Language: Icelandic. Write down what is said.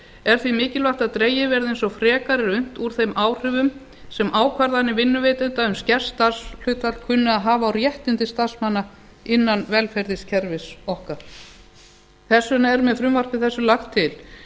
er því mikilvægt að dregið verði eins og frekast er unnt úr þeim áhrifum sem ákvarðanir vinnuveitenda um skert starfshlutfall kunna að hafa á réttindi starfsmanna innan velferðarkerfis okkar þess vegna er með frumvarpi þessu lagt til